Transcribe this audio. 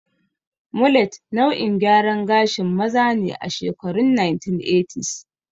Mulet nau'in gyaran gashin maza ne a shekarun 1980s.